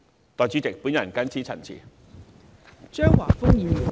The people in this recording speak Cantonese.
代理主席，我謹此陳辭。